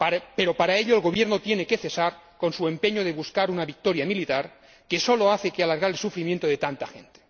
Pero para ello el gobierno tiene que cesar en su empeño de buscar una victoria militar que no hace sino alargar el sufrimiento de tanta gente.